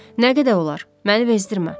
Nə qədər olar, məni vezdirmə.